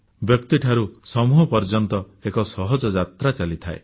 ବ୍ୟକ୍ତିଠାରୁ ସମୂହ ପର୍ଯ୍ୟନ୍ତର ଏକ ସହଜ ଯାତ୍ରା ଚାଲିଥାଏ